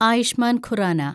Ayushman Khurana